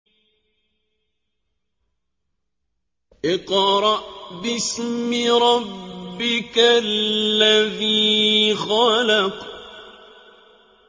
اقْرَأْ بِاسْمِ رَبِّكَ الَّذِي خَلَقَ